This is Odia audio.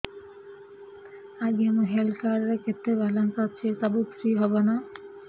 ଆଜ୍ଞା ମୋ ହେଲ୍ଥ କାର୍ଡ ରେ କେତେ ବାଲାନ୍ସ ଅଛି ସବୁ ଫ୍ରି ହବ ନାଁ